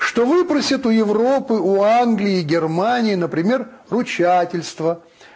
что выпросят у европы у англии германии например ручательство